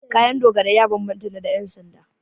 Kayan dogarai ya bambanta da na 'yansanda.